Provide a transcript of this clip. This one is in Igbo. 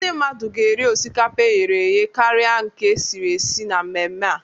Ndị mmadụ ga-eri osikapa e ghere eghe karịa nke e siri esi na mmemme a.